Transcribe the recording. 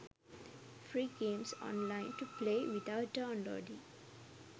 free games online to play without downloading